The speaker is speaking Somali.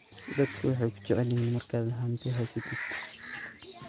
Dadka waxay kujecelyihin marka hanti hasatidh.